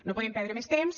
no podem perdre més temps